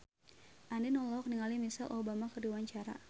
Andien olohok ningali Michelle Obama keur diwawancara